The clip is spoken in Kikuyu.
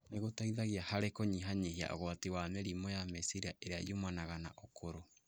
nĩ gũteithagia harĩ kũnyihanyihia ũgwati wa mĩrimũ ya meciria ĩrĩa yumanaga na ũkũrũ.